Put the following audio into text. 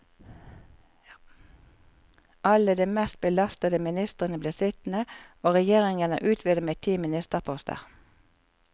Alle de mest belastede ministrene blir sittende, og regjeringen er utvidet med ti ministerposter.